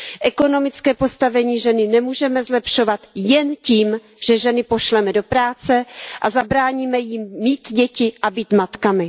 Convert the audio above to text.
Ekonomické postavení ženy nemůžeme zlepšovat jen tím, že ženy pošleme do práce a zabráníme jim mít děti a být matkami.